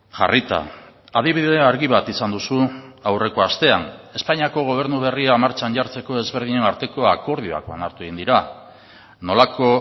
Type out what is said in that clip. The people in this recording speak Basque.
jarrita adibidea argi bat izan duzu aurreko astean espainiako gobernu berria martxan jartzeko ezberdinen arteko akordioak onartu egin dira nolako